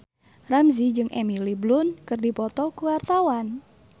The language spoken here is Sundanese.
Ramzy jeung Emily Blunt keur dipoto ku wartawan